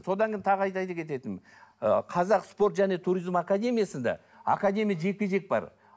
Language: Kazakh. содан кейін тағы айта ы қазақ спорт және туризм академиясында академия жекпе жек бар